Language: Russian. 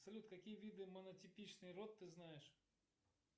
салют какие виды монотипичный род ты знаешь